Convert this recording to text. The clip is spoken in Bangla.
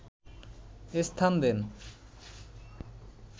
স্থান দেন